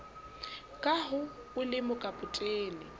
ka ha o le mokapotene